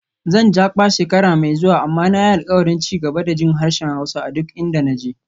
Zan Jakpa shekara mai zuwa, amma na yi alkawarin ci gaba da jin harshen Hausa a duk inda na je.